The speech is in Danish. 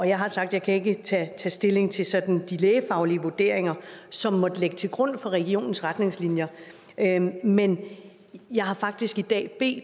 jeg har sagt at jeg ikke kan tage stilling til sådan de lægefaglige vurderinger som måtte ligge til grund for regionens retningslinjer men jeg har faktisk i dag bedt